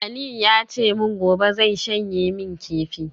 Aliu ya ce min gobe zai shanye min kifi